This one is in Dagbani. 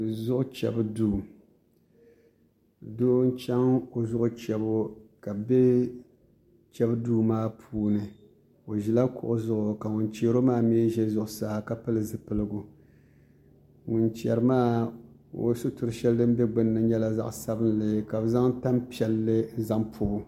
Zuɣu chɛbu duu doo n chɛŋ o zuɣu chɛbu ka bu chɛbu duu maa puuni o ʒila kuɣu zuɣu ka ŋun chɛro maa mii ʒɛ zuɣusaa ka pili zipiligu ŋun chɛri maa o sitiri shɛli din bɛ binni nyɛla zaɣ sabinli ka bi zaŋ tanpiɛlli n zaŋ pobo